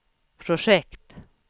projekt